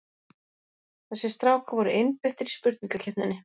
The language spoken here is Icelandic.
Þessir strákar voru einbeittir í spurningakeppninni!